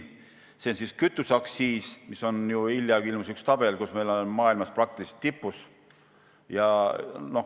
Võtame näiteks kütuseaktsiisi: hiljuti ilmus üks tabel, mille järgi me oleme selles järjestuses üsna maailma tipus.